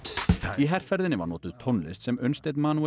í herferðinni var notuð tónlist sem Unnsteinn